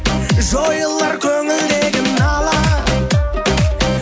жойылар көңілдегі нала